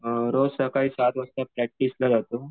रोज सकाळी सात वाजता प्रॅक्टिसला जातो.